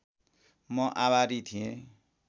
म आभारी थिएँ